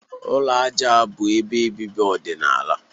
Ụlọ aja bụ ebe obibi ọdịnala.